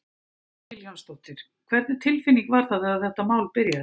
Hödd Vilhjálmsdóttir: Hvernig tilfinning var það þegar þetta mál byrjaði?